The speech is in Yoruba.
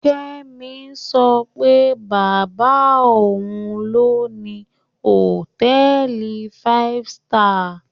Kẹ́mi sọ pé bàbá òun ló ni hòtẹ́ẹ̀lì five star